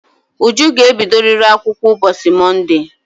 Uju ga-ebidoriri akwụkwọ ụbọchị Monde!